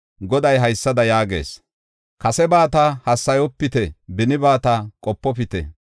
Goday haysada yaagees: “Kasebata haasayopite; benibata qopofite.